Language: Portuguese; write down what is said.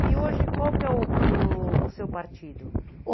E hoje qual que é o o o seu partido?